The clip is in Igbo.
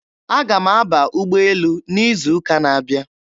Aga m aba ụgbọelu n'izuụka na-abịa.